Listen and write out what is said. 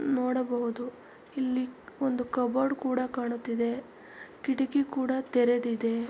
ನೋಡಬಹುದು ಇಲ್ಲಿ ಒಂದು ಕಬೋರ್ಡ್ ಕೂಡ ಕಾಣುತ್ತಿದೆ ಕಿಡಕಿ ಕೂಡ ತೆರೆದಿದೆ.